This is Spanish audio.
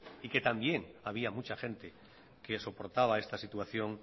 y que también había mucha gente que soportaba esta situación